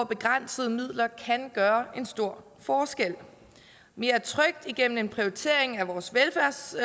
begrænsede midler kan gøre en stor forskel mere trygt igennem en prioritering af vores